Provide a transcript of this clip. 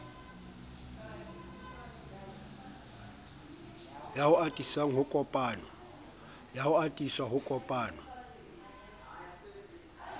ao ho atisang ho kopanwa